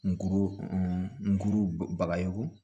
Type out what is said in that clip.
Nkuru nkuru bagayoko